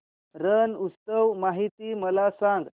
रण उत्सव माहिती मला सांग